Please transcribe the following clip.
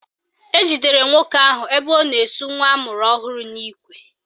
Ejidere nwoke ahụ ebe ọ na-esu nwa amụrụ ọhụrụ n'ikwe